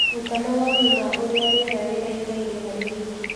ruta mawoni ma ũrĩa rĩera riraikara harĩ wĩkĩ